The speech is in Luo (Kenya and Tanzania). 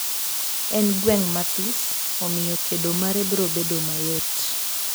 En gweng mathis, omiyo kedo mare brodedo mayot.